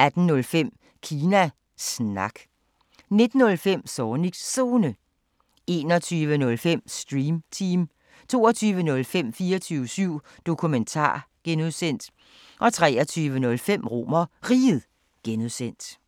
18:05: Kina Snak 19:05: Zornigs Zone 21:05: Stream Team 22:05: 24syv Dokumentar (G) 23:05: RomerRiget (G)